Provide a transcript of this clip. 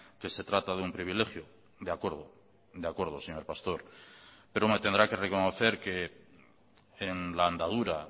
que se trata de un privilegio de acuerdo de acuerdo señor pastor pero me tendrá que reconocer que en la andadura